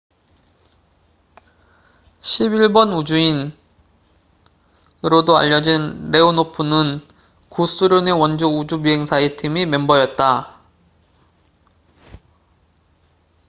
"""11번 우주인""으로도 알려진 레오노프는 구소련의 원조 우주비행사 팀의 멤버였다.